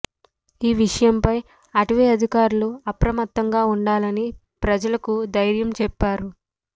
ఈ విషయంపై అటవీ అధికారులు అప్రమత్తంగా ఉండాలని ప్రజలకు ధైర్యం చెప్పారు